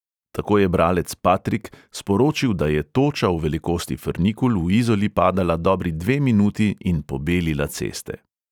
Tako je bralec patrik sporočil, da je toča v velikosti frnikul v izoli padala dobri dve minuti in pobelila ceste.